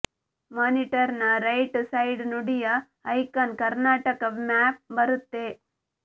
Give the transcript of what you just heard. monitor ನ right side ನುಡಿಯ icon Karnataka map ಬರುತ್ತೆ